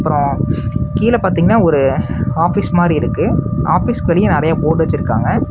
அப்றோ கீழ பாத்தீங்கன்னா ஒரு ஆபீஸ் மாரி இருக்கு ஆபீஸ்க்கு வெளிய நெறையா போர்டு வெச்சருக்காங்க.